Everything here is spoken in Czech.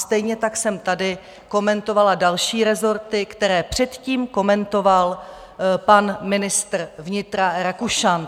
Stejně tak jsem tady komentovala další resorty, které předtím komentoval pan ministr vnitra Rakušan.